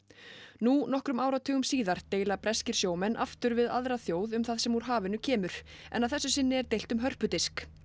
nú nokkrum áratugum síðar deila breskir sjómenn aftur við aðra þjóð um það sem úr hafinu kemur en að þessu sinni er deilt um hörpudisk